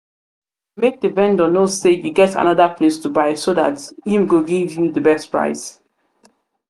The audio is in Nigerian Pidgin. di vendor know sey you get anoda place to buy so dat im go give you di best price